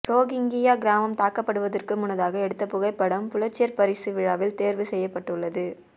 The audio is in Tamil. ரோகிங்கியா கிராமம் தாக்கப்படுவதற்கு முன்னதாக எடுத்த புகைப்படம் புலிட்சர் பரிசு விழாவில் தேர்வு செய்யப்பட்டுள்ளது